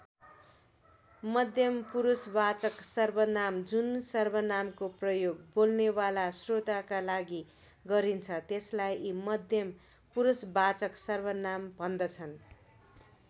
मध्यम पुरुषवाचक सर्वनाम जुन सर्वनामको प्रयोग बोल्नेवाला श्रोताका लागि गरिन्छ त्यसलाई मध्यम पुरुषवाचक सर्वनाम भन्दछन्।